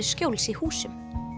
skjóls í húsum